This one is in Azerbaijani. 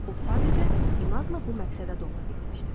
O sadəcə inadla bu məqsədə doğru getmişdi.